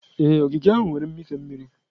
Ee, ogige ahụ nwere mmịfe mmiri.